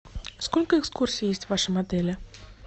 сколько экскурсий есть в вашем отеле